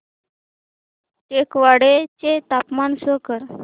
टेकवाडे चे तापमान शो कर